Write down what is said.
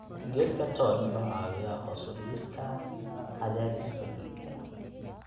Geedka toon wuxuu caawiyaa hoos u dhigista cadaadiska dhiigga.